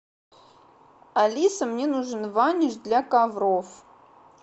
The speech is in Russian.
алиса мне нужен ваниш для ковров